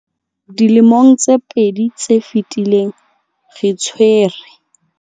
Dilemong tse pedi tse fetileng, re tshwere.